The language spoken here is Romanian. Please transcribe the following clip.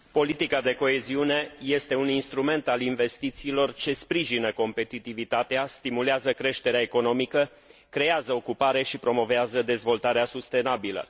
Politica de coeziune este un instrument al investițiilor ce sprijină competitivitatea, stimulează creșterea economică, creează ocupare și promovează dezvoltarea sustenabilă.